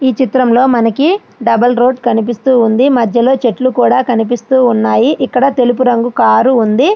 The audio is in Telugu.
ఈ చిత్రంలో మనకి ఒక డబల్ రోడ్డు కనిపిస్తూ ఉంది. మధ్యలో నుంచి చెట్లు కూడా కనిపిస్తూ ఉన్నాయి. ఇక్కడ నలుపు రంగు కూడా ఉంది.